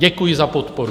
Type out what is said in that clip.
Děkuji za podporu.